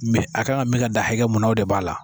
Mɛ a kan ka mi ka dan hakɛ mun na o de b'a la